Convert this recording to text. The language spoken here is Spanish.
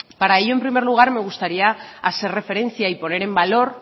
para ello en primer lugar me gustaría hacer referencia y poner en valor